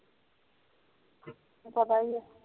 ਪਤਾ ਏ ਨੀ